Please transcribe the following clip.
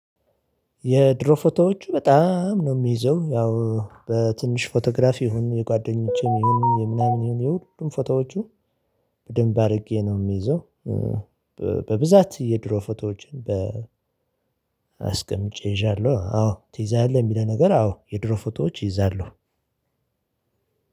የድሮ ፎቶዎቹ በጣም ነው የምይዘው፤ ያው በትንሽ ፎቶግራፍ ይሁን የጓደኞቼም ይሁን የምናምን ይሁን የሁሉንም ፎቶዎቹ በደንብ አድርጌ ነው የምይዘው በብዛት የድሮ ፎቶዎችን በ አስቀምጬ ይዣለሁ አዎ ትይዛለህ የሚለው ነገር አዎ የድሮ ፎቶዎች ይዛለሁ።